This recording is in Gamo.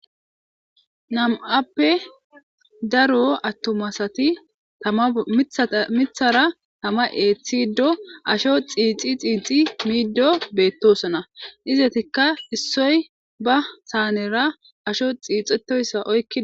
Nam'appe daro attumasati mmithara tama eeththido asho xiixi xiixi miiddo beettosona izetikka issoy ba saanera asho xiixetoyssa oykki.